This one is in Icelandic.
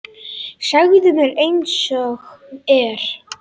Segðu mér einsog er.